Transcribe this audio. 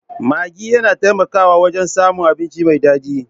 Maggi yana taimakawa wajen samun abinci mai daɗi.